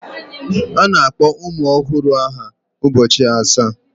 A na-akpọ ụmụ ọhụrụ aha ụbọchị asaa.